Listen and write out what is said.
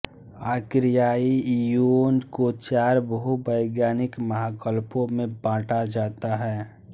आर्कियाई eon को चार भूवैज्ञानिक महाकल्पों में बांटा जाता है